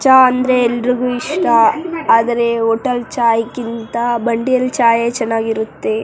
ಚಾ ಅಂದ್ರೆ ಎಲ್ರಿಗೂ ಇಷ್ಟ ಆದರೆ ಹೋಟೆಲ್ ಚಾಯ್ ಕ್ಕಿಂತ ಬಂಡಿಯಲ್ ಚಾಯೇ ಚೆನ್ನಾಗಿರುತ್ತೆ.